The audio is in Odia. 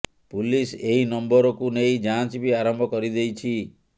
ପୁଲିସ ଏହି ନମ୍ବରକୁ ନେଇ ଯାଞ୍ଚ ବି ଆରମ୍ଭ କରି ଦେଇଛି